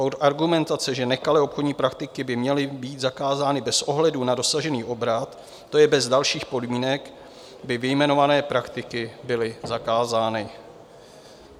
Od argumentace, že nekalé obchodní praktiky by měly být zakázány bez ohledu na dosažený obrat, to je bez dalších podmínek, by vyjmenované praktiky byly zakázány.